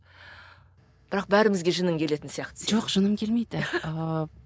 бірақ бәрімізге жының келетін сияқты жоқ жыным келмейді ыыы